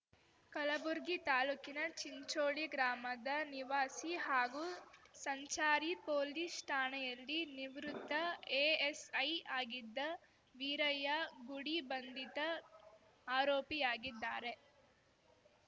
ಕಲಬುರ್ಗಿ ತಾಲೂಕಿನ ಚಿಂಚೋಳಿ ಗ್ರಾಮದ ನಿವಾಸಿ ಹಾಗೂ ಸಂಚಾರಿ ಪೊಲೀಸ್‌ ಠಾಣೆಯಲ್ಲಿ ನಿವೃತ್ತ ಎಎಸ್‌ಐ ಆಗಿದ್ದ ವೀರಯ್ಯ ಗುಡಿ ಬಂಧಿತ ಆರೋಪಿಯಾಗಿದ್ದಾರೆ